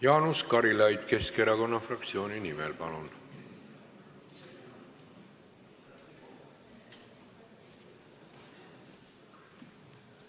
Jaanus Karilaid Keskerakonna fraktsiooni nimel, palun!